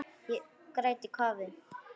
Ég græt í kafi.